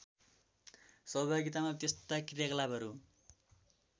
सहभागितामा त्यस्ता क्रियाकलापहरू